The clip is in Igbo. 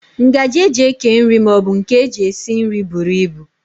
Ngaji e ji eke nri maọbụ nke e ji esi nri buru ibu